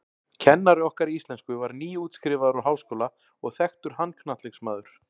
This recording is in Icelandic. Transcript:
Kennari okkar í íslensku var nýútskrifaður úr háskóla og þekktur handknattleiksmaður.